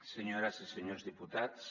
senyores i senyors diputats